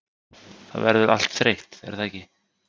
það verður allt þreytt er það ekki?